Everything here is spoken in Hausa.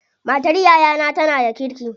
Matar yayana tana da kirki.